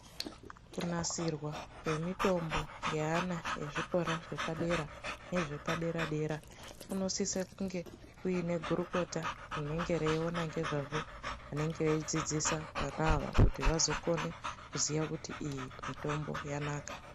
Kunasirwa kwemitombo ngeana vezvikora zvepadera nezvepadera dera kunosisa kunge kuine gurukota rinenge reyiwona ngezvazvo rinenge reidzidzisa vana ava kuti vazokone kuziva kuti iyi mitombo yanaka.